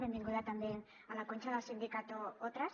benvinguda també la conxa del sindicato otras